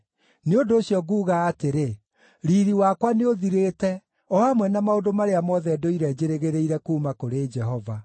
Nĩ ũndũ ũcio nguuga atĩrĩ, “Riiri wakwa nĩũthirĩte, o hamwe na maũndũ marĩa mothe ndũire njĩrĩgĩrĩire kuuma kũrĩ Jehova.”